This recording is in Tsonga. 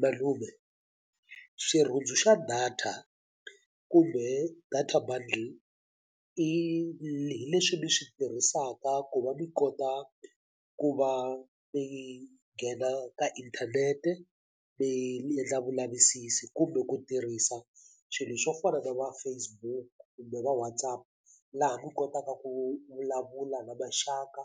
Malume xirhundzu xa data kumbe data bundle i hi leswi mi swi tirhisaka ku va mi kota ku va mi nghena ka inthanete mi endla vulavisisi kumbe ku tirhisa swilo swo fana na va Facebook kumbe va WhatsApp laha va kotaka ku vulavula na maxaka